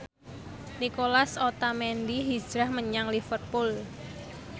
Nicolas Otamendi hijrah menyang Liverpool